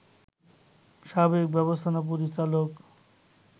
সাবেক ব্যবস্থাপনা পরিচালক